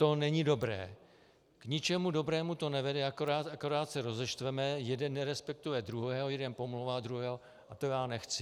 To není dobré, k ničemu dobrému to nevede, akorát se rozeštveme, jeden nerespektuje druhého, jeden pomlouvá druhého a to já nechci.